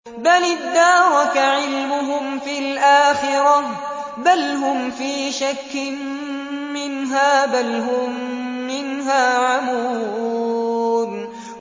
بَلِ ادَّارَكَ عِلْمُهُمْ فِي الْآخِرَةِ ۚ بَلْ هُمْ فِي شَكٍّ مِّنْهَا ۖ بَلْ هُم مِّنْهَا عَمُونَ